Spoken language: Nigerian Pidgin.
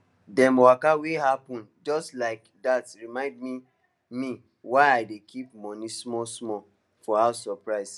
dem waka wey happen just like that remind me me why i dey keep small money for house surprise